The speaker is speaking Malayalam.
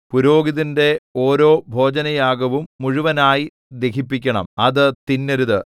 പുരോഹിതന്റെ ഓരോ ഭോജനയാഗവും മുഴുവനായി ദഹിപ്പിക്കണം അത് തിന്നരുത്